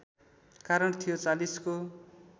कारण थियो ४० को